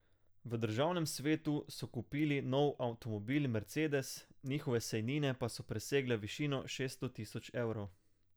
V državnem svetu so kupili nov avtomobil mercedes, njihove sejnine pa so presegle višino šeststo tisoč evrov.